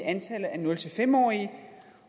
antallet af nul fem årige